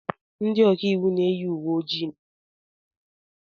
Ndị ọka iwu na-eyi uwe ojii na wig isi awọ.